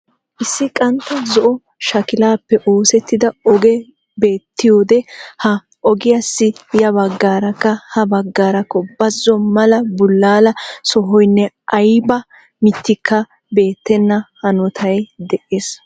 Issi qantta zo'o shakilaappe oosettida ogee beettiyode ha ogiyaassi yabagaarakka ha bagaarakka bazzo mala bulaala sohoynne ayba mittikka beettena hanotay dees.